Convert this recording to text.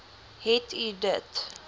het u dit